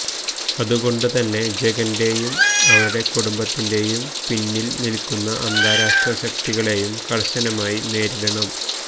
അതുകൊണ്ട് തന്നെ ജഗന്റെയും അവരുടെ കുടുംബത്തിന്റെയും പിന്നില്നില്ക്കുന്ന അന്താരാഷ്ട്ര ശക്തികളേയും കര്ശനമായി നേരിടണം